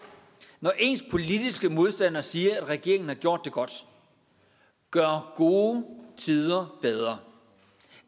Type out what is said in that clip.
når ens politiske modstander siger at regeringen har gjort det godt gør gode tider bedre